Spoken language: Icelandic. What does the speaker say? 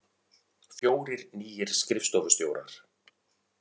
Fjórir nýir skrifstofustjórar